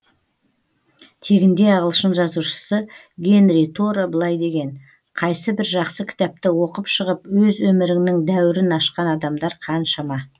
тегінде ағылшын жазушысы генри торо былай деген қайсы бір жақсы кітапты оқып шығып өз өміріңнің дәуірін ашқан адамдар қаншама